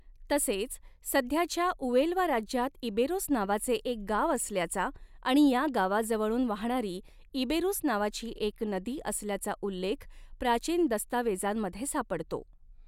तसेच सध्याच्या उएल्वा राज्यात इबेरोस नावाचे एक गाव असल्याचा आणि या गावाजवळून वाहणारी इबेरुस नावाची एक नदी असल्याचा उल्लेख प्राचीन दस्तावेजांमध्ये सापडतो.